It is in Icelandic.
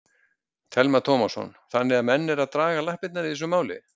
Telma Tómasson: Þannig að menn eru að draga lappirnar í þessu máli?